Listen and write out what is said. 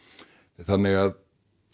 þannig að